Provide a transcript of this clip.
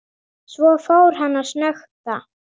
Svo fór hann að snökta.